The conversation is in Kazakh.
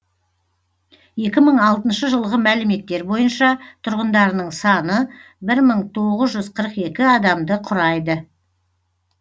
екі мың алтыншы жылғы мәліметтер бойынша тұрғындарының саны бір мың тоғыз жүз қырық екі адамды құрайды